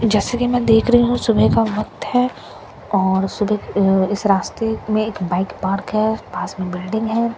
जैसे कि मैं देख रही हूं सुबह का वक्त है और सुबह अ इस रास्ते में एक बाइक पार्क है पास में बिल्डिंग है।